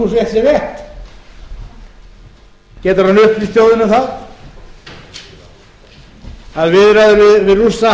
sú frétt sé rétt getur hann upplýst þjóðina um það að viðræður við rússa séu dottnar upp